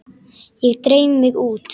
Ég dreif mig út.